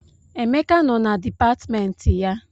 Emeka nọ na dipatịmentị ya.